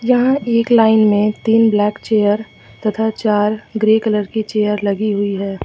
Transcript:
यहां एक लाइन में तीन ब्लैक चेयर तथा चार ग्रे कलर की चेयर लगी हुई है।